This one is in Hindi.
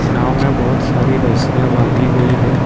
नाव में बहुत सारी रसियां बांधी गई है।